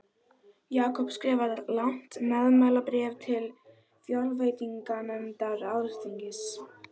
Jakob skrifar langt meðmælabréf til fjárveitinganefndar alþingis.